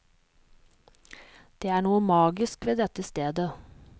Det er noe magisk ved dette stedet.